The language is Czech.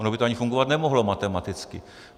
Ono by to ani fungovat nemohlo matematicky.